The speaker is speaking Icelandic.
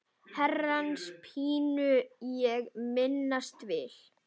Herrans pínu ég minnast vil.